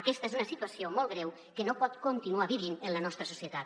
aquesta és una situació molt greu que no pot continuar vivint en la nostra societat